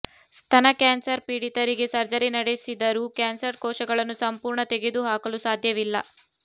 ಸ್ತನಕ್ಯಾನ್ಸರ್ ಪೀಡಿತರಿಗೆ ಸರ್ಜರಿ ನಡೆಸಿದರೂ ಕ್ಯಾನ್ಸರ್ ಕೋಶಗಳನ್ನು ಸಂಪೂರ್ಣ ತೆಗೆದು ಹಾಕಲು ಸಾಧ್ಯವಿಲ್ಲ